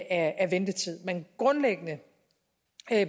af ventetid men grundlæggende